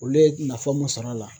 Olu ye nafa mun sɔrɔ a la